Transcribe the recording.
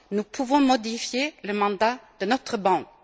Nous pouvons modifier le mandat de notre banque.